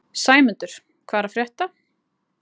Sæmundur, hvað er að frétta?